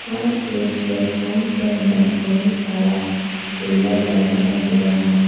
और इस प्लेटफॉर्म के अंदर बहुत सारा पिलर लगाया हुआ है।